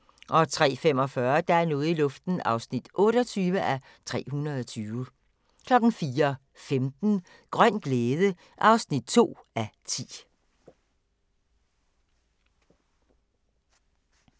03:45: Der er noget i luften (28:320) 04:15: Grøn glæde (2:10)